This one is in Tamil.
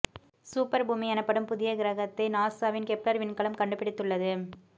சூப்பர் பூமி எனப்படும் புதிய கிரகத்தை நாசாவின் கெப்லர் விண்கலம் கண்டுப்பிடித்துள்ளது